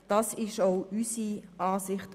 Das ist auch unsere Ansicht.